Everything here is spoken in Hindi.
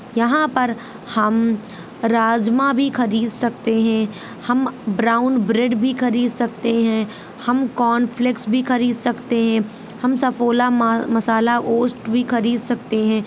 यहा पर हम राजमा भी खरीद सकते हैं हम ब्राउन ब्रेड भी खरीद सकते हैं हम कॉर्नफ्लेक्स भी खरीद सकते हैं हम सफ़ोला मसाला ऑसट भी खरीद सकते है।